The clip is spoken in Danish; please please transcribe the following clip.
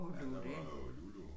Ja der var jo Lulu